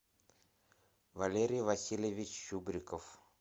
валерий васильевич чубриков